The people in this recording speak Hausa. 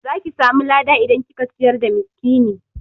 Zaki samu lada idan kika ciyar da miskini